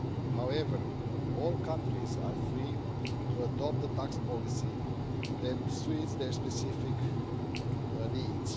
However, all countries are free to adopt the tax policy that suits their specific needs.